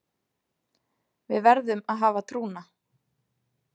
Við verðum að hafa trúna